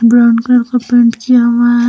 Brown colour का paint किया हुआ है।